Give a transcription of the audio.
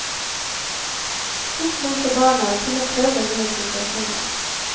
Oppmuntre barna til prøve nye situasjoner.